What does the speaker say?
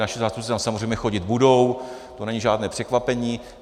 Naši zástupci tam samozřejmě chodit budou, to není žádné překvapení.